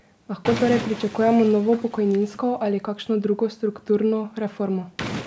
Lahko torej pričakujemo novo pokojninsko ali kakšno drugo strukturno reformo?